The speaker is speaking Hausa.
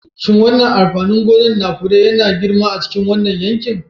Shin wannan amfanin gona na fure yana girma a cikin wannan yanki?